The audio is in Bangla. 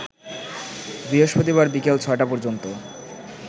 বৃহস্পতিবার বিকেল ৬টা পর্যন্ত